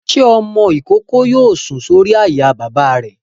Ṣé ọmọ-ìkókó yóò sùn sórí àyà bàbá rẹ̀?